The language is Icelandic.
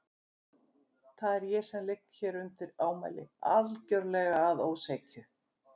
Það er ég sem ligg hér undir ámæli, algjörlega að ósekju.